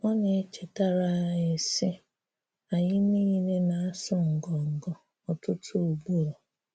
Ọ na-echétarà anyị, sị́: “Ànyị̀ nilè na-asụ́ ngọngọ́ ọ̀tụ̀tù̀ ugboro.